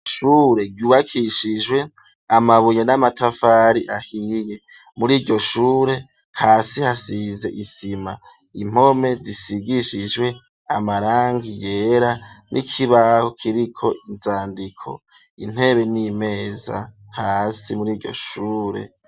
Ishure ryubakishijwe amabuye n'amatafari ahiye muri ryo shure hasi hasize isima impome zisigishijwe amarangi yera n'ikibaho kiriko inzandiko intebe n'imeza hasi muri iryo shure.